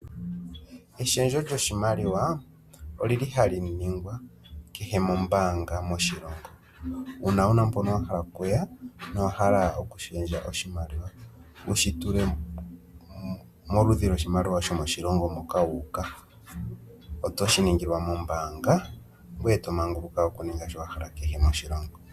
Eshendjo lyoshimaliwa olili hali ningwa kehe mombaanga moshilongo uuna wuna mpono wa hala okuya no owa hala okushendja oshimaliwa wushi tule moludhi lwoshimaliwa shomoshilongo moka wuuka otoshi ningilwa moombaanga ngoye tomanguluka okuninga kehe shoka wahala moshilongo.